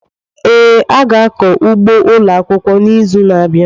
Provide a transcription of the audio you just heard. Ee, a ga-akọ ugbo ụlọ akwụkwọ n'izu na-abịa.